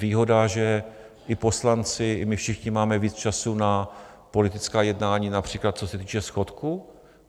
Výhoda, že i poslanci, i my všichni máme víc času na politická jednání například, co se týče schodku.